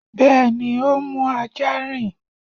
Bẹ́ẹ̀ni, ó ń mú ah